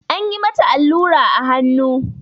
Anyi mata allura a hannu.